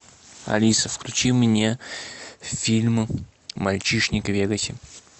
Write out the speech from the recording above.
алиса включи мне фильм мальчишник в вегасе